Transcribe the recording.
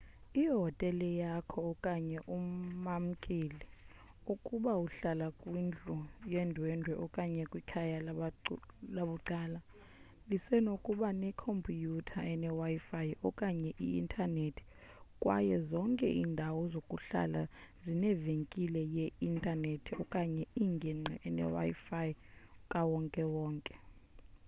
ihotele yakho okanye umamkeli ukuba uhlala kwindlu yendwendwe okanye kwikhaya labucala lisenokuba ne compyutha ene wifi okanye i intaneti kwaye zonke indawo zokuhlala zinevenkile ye intaneti okanye ingingqi ene wifi kawonke wonke